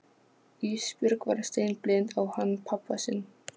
Ísbjörg var steinblind á hann pabba sinn.